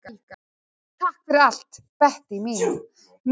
Takk fyrir allt, Bettý mín.